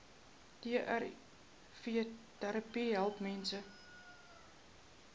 trvterapie help mense